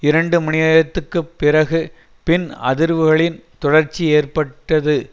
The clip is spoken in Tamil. இரண்டு மணி நேரத்திற்கு பிறகு பின் அதிர்வுகளின் தொடர்ச்சி ஏற்பட்டது